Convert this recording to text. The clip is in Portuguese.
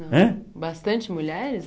Hein Bastante mulheres?